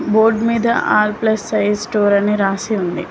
Board మీద all plus size store అని రాసి ఉంది.